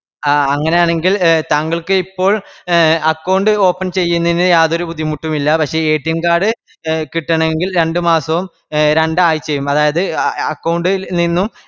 ആ അങ്ങനെ ആണെങ്കിൽ താങ്കൾക്ക് ഇപ്പോൾ account open ചെയ്യുന്നതിന് യാതൊരുബുദ്ധിമുട്ടുമില്ലപക്ഷെ card കിട്ടണമെങ്കിൽ രണ്ട്മാസവുംരണ്ട് ആയ്ച്ചയും അതായത് account ഇൽ നിന്നും